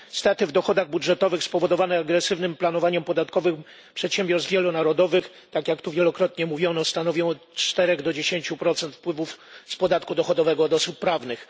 Straty w dochodach budżetowych spowodowane agresywnym planowaniem podatkowym przedsiębiorstw wielonarodowych tak jak tu wielokrotnie mówiono stanowią od 4 do 10 wpływów z podatku dochodowego od osób prawnych.